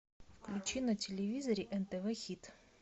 включи на телевизоре нтв хит